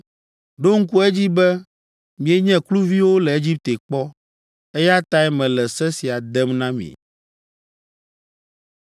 Ɖo ŋku edzi be mienye kluviwo le Egipte kpɔ, eya tae mele se sia dem na mi.”